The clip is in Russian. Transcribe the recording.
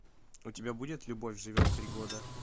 у тебя будет любовь живет три года